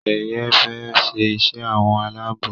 Sheye fè ṣe iṣé àwọn Àlàabò.